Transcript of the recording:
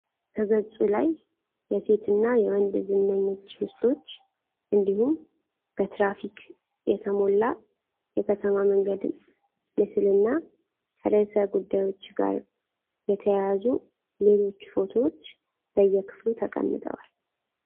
በገጹ ላይ የሴትና የወንድ ዝነኞች ምስሎች እንዲሁም በትራፊክ የተሞላ የከተማ መንገድ ምስልና ከርዕሰ ጉዳዮች ጋር የተያያዙ ሌሎች ፎቶዎች በየክፍሉ ተቀምጠዋል።